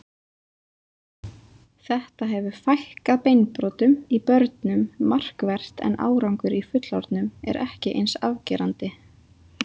Þetta hefur fækkað beinbrotum í börnum markvert en árangur í fullorðnum er ekki eins afgerandi.